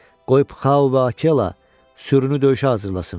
Qoy Pxao və Akela sürünü döyüşə hazırlasın.